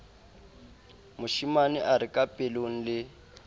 moshemane a re kapelong le